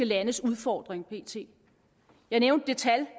landes udfordring pt jeg nævnte et tal